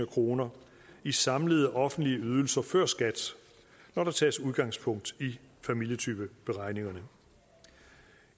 kroner i samlede offentlige ydelser før skat når der tages udgangspunkt i familietypeberegningerne